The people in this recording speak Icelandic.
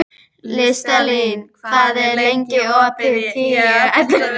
Listalín, hvað er lengi opið í Tíu ellefu?